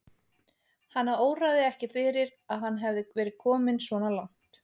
Hana óraði ekki fyrir að hann hefði verið kominn svona langt.